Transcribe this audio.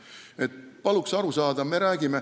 Palun teil sellest aru saada!